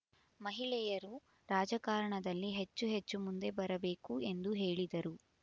ಮಹಿಳೆಯರು ರಾಜಕಾರಣದಲ್ಲಿ ಹೆಚ್ಚುಹೆಚ್ಚು ಮುಂದೆ ಬರಬೇಕು ಎಂದು ಹೇಳಿದರು